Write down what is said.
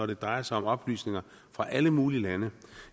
det drejer sig om oplysninger fra alle mulige lande